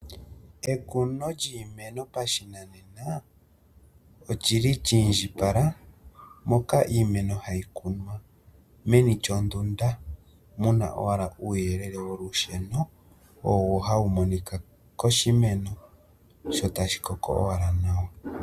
Ekuno lyiimeno pashinanena olyili lyiindjipala, iimeno hayi kunwa meni lyondunda muna ashike uuyelele olusheno owo hawu monika koshimeno sho tashi koko owala nawa.